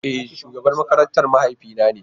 E! shugaban makaranta mahaifi na ne.